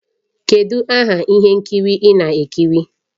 Kedụ aha ihe nkiri ị na-ekiri?